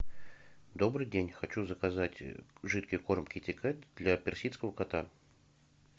добрый день хочу заказать жидкий корм китикет для персидского кота